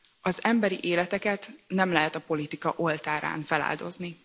Az emberi életeket nem lehet a politika oltárán feláldozni!